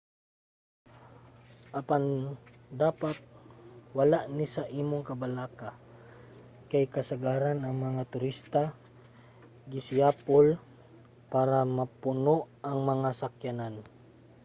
apan dapat wala ni sa imong kabalaka kay kasagaran ang mga turista gisiyapol para mapuno ang mga sakyanan